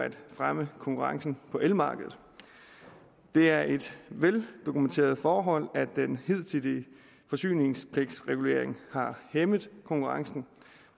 at fremme konkurrencen på elmarkedet det er et veldokumenteret forhold at den hidtidige forsyningspligtsregulering har hæmmet konkurrencen